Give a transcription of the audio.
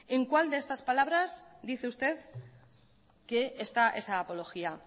en cuál de estas palabras dice usted que está esa apología